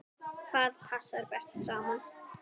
Hvað passar best saman?